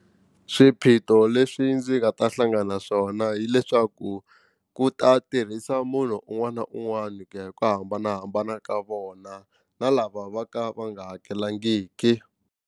Swiphiqo leswi ndzi nga ta hlangana na swona hileswaku ku ta tirhisa munhu un'wana na un'wana ku ya hi ku hambanahambana ka vona na lava va ka va nga hakelangiki.